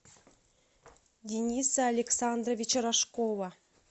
дениса александровича рожкова